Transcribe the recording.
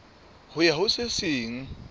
ho ya ho se seng